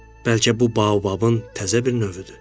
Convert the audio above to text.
Bəlkə bu baobabın təzə bir növüdür.